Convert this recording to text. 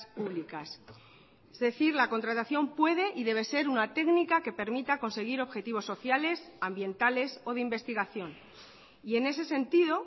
públicas es decir la contratación puede y debe ser una técnica que permita conseguir objetivos sociales ambientales o de investigación y en ese sentido